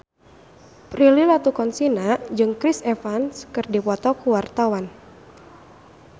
Prilly Latuconsina jeung Chris Evans keur dipoto ku wartawan